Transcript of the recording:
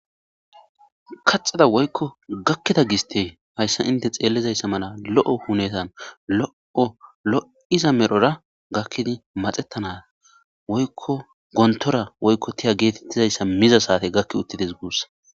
kaxeda woykko gakkida giste hayssa inte xeellizayssa mala lo'o hunetan lo'o lo'iza medhora gakkidi maxettanaa woykko gontora woykko tiya geetettizayssa miza saate gakki uttides guussa